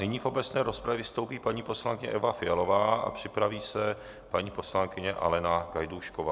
Nyní v obecné rozpravě vystoupí paní poslankyně Eva Fialová a připraví se paní poslankyně Alena Gajdůšková.